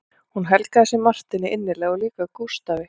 Hún helgaði sig Marteini innilega og líka Gústafi